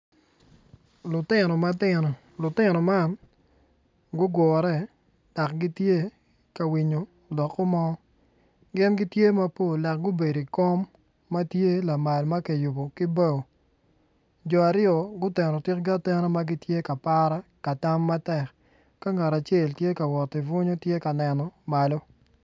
Lutino matino, lutino man gugure dok gitye ka winyo lokke mo gin gitye mapol dok gubedo i kom matye lamal makiyubo ki bao jo aryo guteno tikgi atena matye ka para katam matek ka ngat acel tye ka bunyo tye ka neno malo.